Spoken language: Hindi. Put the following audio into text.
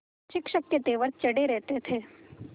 शिक्षक के तेवर चढ़े रहते थे